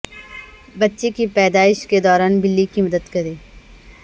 بچے کی پیدائش کے دوران بلی کی مدد کریں